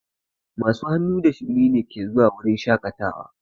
Masu hannu da shuni ne ke zuwa wurin shaƙatawa.